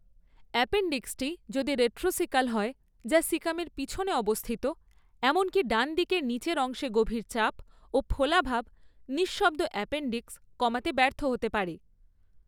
অ্যাপেণ্ডিক্সটি যদি রেট্রোসিকাল হয় যা সিকামের পিছনে অবস্থিত, এমনকি ডানদিকের নীচের অংশে গভীর চাপও ফোলাভাব নিঃশব্দ অ্যাপেণ্ডিক্স কমাতে ব্যর্থ হতে পারে।